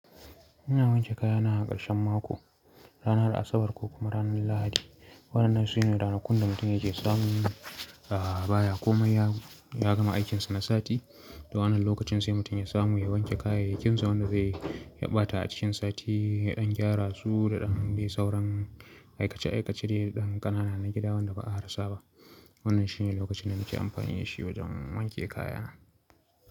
Ina wanke kaya na a ƙarshen mako, ranar Asabar ko kuma ranar Lahadi. Waɗannan su ne ranakun da mutum ya ke samu, a baya ko mai ya-ya gama aikinsa na sati. To wannan lokacin sai mutum ya samu ya wanke kayayyakin sa wanda zai ya ɓata a cikin sati, ya ɗan gyara su da ɗan dai sauran aikace-aikace dai ɗan ƙanana na gida wanda ba a rasa ba. Wannan shi ne lokacin da nake amfani da shi wajen wanke kaya.